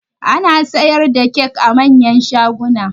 Ana siyar da kyak a manyan shaguna